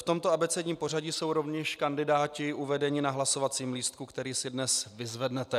V tomto abecedním pořadí jsou rovněž kandidáti uvedeni na hlasovacím lístku, který si dnes vyzvednete.